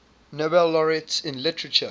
nobel laureates in literature